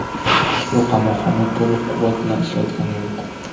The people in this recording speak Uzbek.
Ushbu qamoqxona to‘liq quvvat bilan ishlayotgani yo‘q.